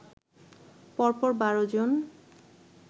পরপর ১২ জন